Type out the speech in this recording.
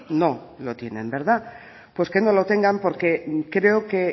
no lo tienen verdad pues que no lo tengan porque creo que